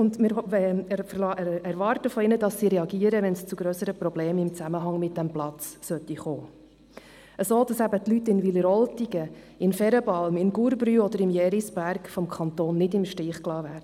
Wir erwarten von ihnen, dass sie reagieren, wenn es zu grösseren Problemen in Zusammenhang mit diesem Platz kommt, sodass eben die Leute in Wileroltigen, in Ferenbalm, in Gurbrü oder im Jerisberg vom Kanton nicht im Stich gelassen werden.